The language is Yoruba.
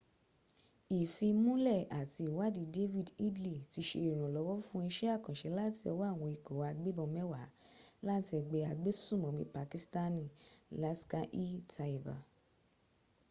ìfimúnlẹ̀ àti ìwadìí david headley ti se ìrànlọ́wọ́ fún isẹ́ àkànṣe láti ọwọ́ àwọn ikọ̀ agbẹ́bọn mẹwa láti ẹgbẹ́ agbẹ́sùmònmí pakistani laskhar-e-taiba